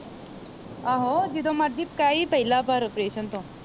ਆਹੋ ਜਦੋ ਮਰਜੀ ਕਹੀ ਪਹਿਲਾ ਪਰ ਆਪ੍ਰੇਸਨ ਤੋਂ